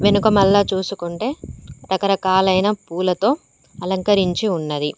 వెనుక మల్లా చూసుకుంటే రకరకాలైన పూలతో అలంకరించి ఉన్నది.